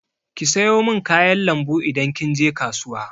Ki sayo min kayan lambu idan kin je kasuwa!